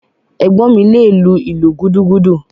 Ẹ̀gbọ́n mi le lu “ìlú gúdúgúdú”.